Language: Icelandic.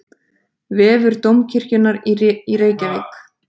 Vefur Dómkirkjunnar í Reykjavík.